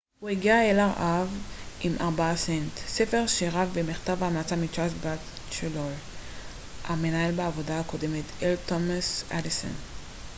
"הוא הגיע אל ארה""ב עם ארבעה סנט ספר שירה ומכתב המלצה מצ'רלס בטצ'לור המנהל בעבודתו הקודמת אל תומאס אדיסון.